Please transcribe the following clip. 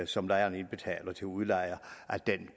som lejeren indbetaler til udlejer